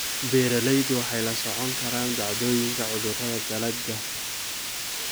Beeraleydu waxay la socon karaan dhacdooyinka cudurrada dalagga.